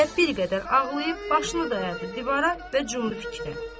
Zeynəb bir qədər ağlayıb, başını dayadı divara və cumdu fikrə.